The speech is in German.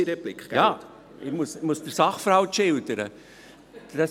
Ja, ich muss den Sachverhalt schildern.